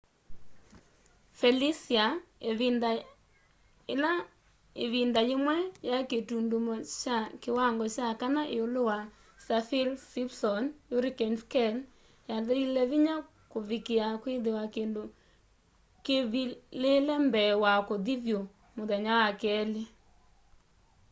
felicia ivinda ila ivinda yimwe yai kitundumo kya kiwangoo kya 4 iulu wa saffir-simpson hurricane scale yathelile vinya kuvikiia kwithia kindu kivivile mbee wa kuthi vyu muthenya wa keli